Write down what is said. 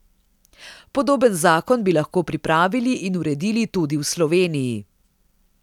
Podoben zakon bi lahko pripravili in uredili tudi v Sloveniji.